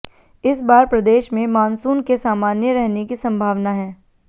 इस बार प्रदेश में मानसून के सामान्य रहने की संभावना है